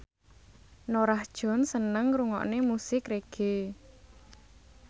Norah Jones seneng ngrungokne musik reggae